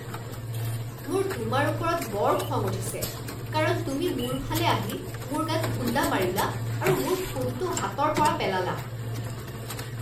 মোৰ তোমাৰ ওপৰত বৰ খং উঠিছে কাৰণ তুমি মোৰ ফালে আহি মোৰ গাত খুণ্ডা মাৰিলা আৰু মোৰ ফোনটো হাতৰ পৰা পেলালা।